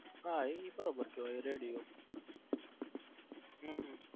હા એ બરો બાર કેવાય ready હો